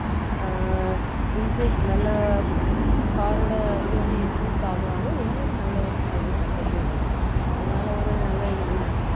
அஹ் incre~ நல்ல car ஓட இது வந்து increase ஆக ஆக எங்களுக்கு நல்ல ஒரு salary package உம் இருக்கும் அதனால ஒரு நல்லதுதானே